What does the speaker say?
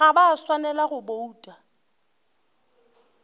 ga ba swanela go bouta